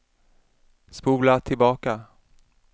spola tillbaka